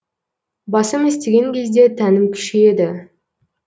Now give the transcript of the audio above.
басым істеген кезде тәнім күшейеді